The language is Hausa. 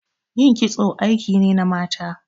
Ƴin kitso aiki ne na mata.